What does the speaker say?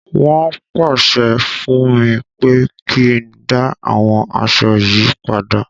Wọ́n pàṣẹ fún mi pé kí n dá àwọn aṣọ yìí padà.